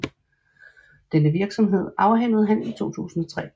Denne virksomhed afhændede han i 2003